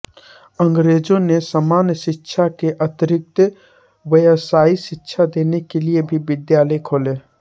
अंग्रेजों ने सामान्य शिक्षा के अतिरिक्त व्यावसायिक शिक्षा देने के लिए भी विद्यालय खोले